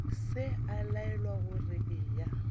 se a laelwa gore eya